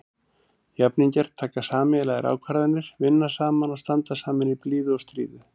Jafningjar taka sameiginlegar ákvarðanir, vinna saman og standa saman í blíðu og stríðu.